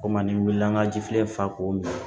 O kuma ni wilila an ka ji filɛ k'o min